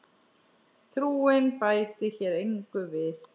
Trúin bæti hér engu við.